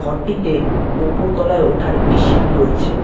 ঘরটিতে ওপর তলায় ওঠার একটি সিঁড়ি রয়েছে।